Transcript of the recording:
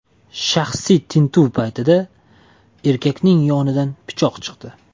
Shaxsiy tintuv paytida erkakning yonidan pichoq chiqdi.